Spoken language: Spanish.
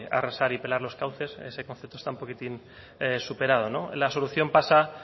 arrasar y pelar los cauces ese concepto está un poquitín superado la solución pasa